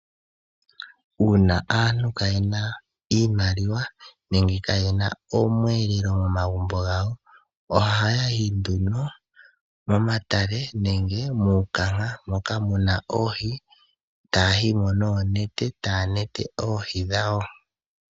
Uuna aantu kaayena iimaliwa, nenge kaayena omweelelo momagumbo gawo, ohayayi nduno momatale nenge muundama, tayayi mo noonete opo yakwate oohi dhawo.